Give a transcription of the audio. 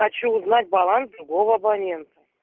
хочу узнать баланс другого абонента